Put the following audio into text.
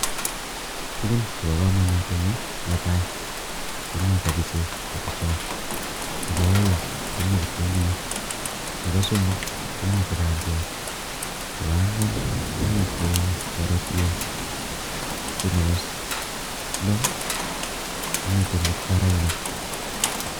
Tugun chebo kamanut en yu, netai komi kabichek kabichot, nebo aeng komi kitunguik, nebo somok komite bandiat, nebo ang'wan komite karotiek tio nebo loo komite mukwaraik.